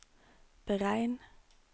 beregn